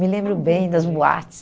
Me lembro bem das boates.